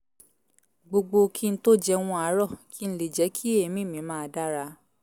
gbogbo kí n tó jẹun àárọ̀ kí n le jẹ́ kí èémí mi máa dára